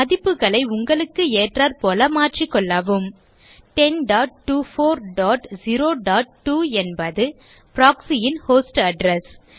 மதிப்புகளை உங்களுக்கு ஏற்றாற்போல் மாற்றிக்கொள்ளவும் 102402 என்பது proxy ன் ஹோஸ்ட் அட்ரெஸ்